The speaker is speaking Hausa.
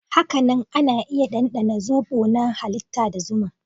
Hakanan ana iya ɗanɗana zobo na halitta da zuma.